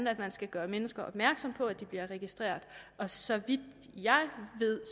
at man skal gøre mennesker opmærksomme på at de bliver registreret og så vidt jeg ved